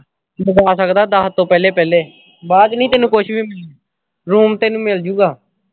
ਮੰਗਵਾ ਸਕਦਾ ਦਹ ਤੋਂ ਪਹਿਲੇ ਪਹਿਲੇ। ਬਾਅਦ ਵਿਚ ਨਹੀਂ ਤੈਨੂੰ ਕੁਝ ਵੀ room ਤੈਨੂੰ ਮਿਲ ਜੂਗਾ।